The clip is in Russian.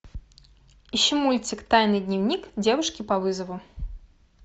ищи мультик тайный дневник девушки по вызову